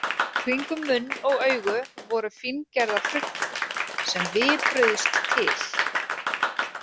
Kringum munn og augu voru fíngerðar hrukkur, sem vipruðust til.